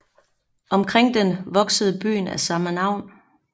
Omkring den voksede byen af samme navn